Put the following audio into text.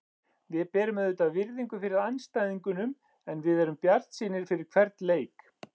Við berum auðvitað virðingu fyrir andstæðingunum en við erum bjartsýnir fyrir hvern leik.